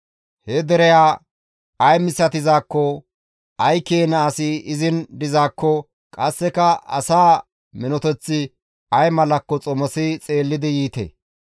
He dereya ay misatizaakko, ay keena asi izin dizaakko qasseka asaa minoteththi ay malakko xomosi xeellidi yiite.